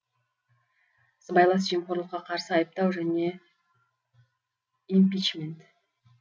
сыбайлас жемқорлыққа қарсы айыптау және импичмент